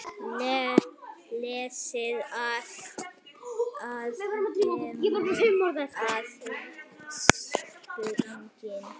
Leitað að feðgum á Suðurlandi